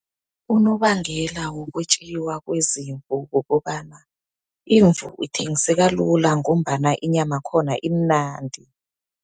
Unobangela wokwetjiwa kwezimvu kukobana, imvu ithengiseka lula ngombana inyama yakhona imnandi.